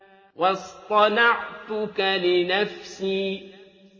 وَاصْطَنَعْتُكَ لِنَفْسِي